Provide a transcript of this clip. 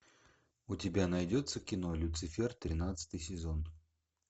у тебя найдется кино люцифер тринадцатый сезон